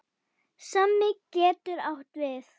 Sómi getur átt við